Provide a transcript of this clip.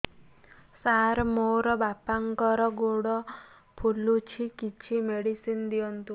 ସାର ମୋର ବାପାଙ୍କର ଗୋଡ ଫୁଲୁଛି କିଛି ମେଡିସିନ ଦିଅନ୍ତୁ